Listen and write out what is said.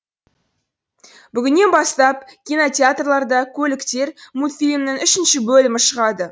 бүгіннен бастап кинотеатрларда көліктер мультфильмінің үшінші бөлімі шығады